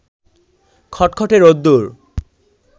খটখটে রোদ্দুর